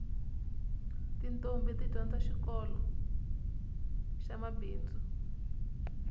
titombhi ti dyondza xikoloxa mabindzu